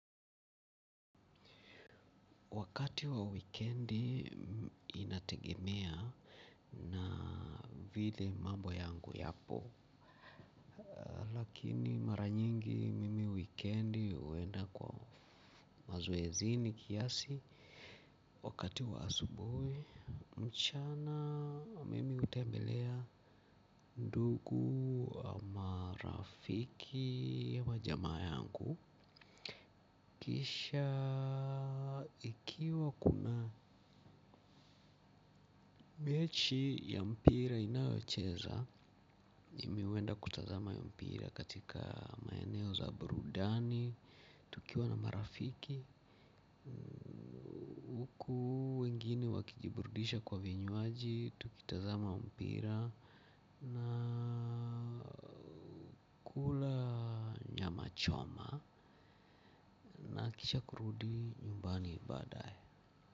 Wakati wa wikendi inategemea na vile mambo yangu yapo. Lakini mara nyingi mimi wikendi huenda kwa mazoezini kiasi. Wakati wa asubuhi, mchana mimi hutembelea ndugu, marafiki wa jamaa yangu kisha ikiwa kuna mechi ya mpira inayocheza, mimi huenda kutazama mpira katika maeneo za burudani, tukiwa na marafiki huku wengine wakijiburudisha kwa vinywaji, tukitazama mpira. Na kula nyama choma, nahakikisha kurudi nyumbani baadaye.